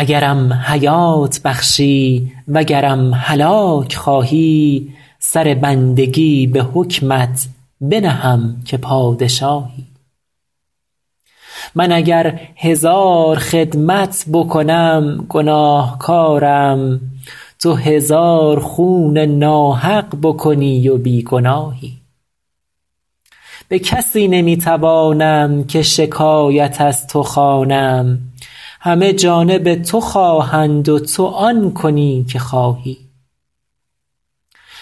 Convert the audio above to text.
اگرم حیات بخشی وگرم هلاک خواهی سر بندگی به حکمت بنهم که پادشاهی من اگر هزار خدمت بکنم گناهکارم تو هزار خون ناحق بکنی و بی گناهی به کسی نمی توانم که شکایت از تو خوانم همه جانب تو خواهند و تو آن کنی که خواهی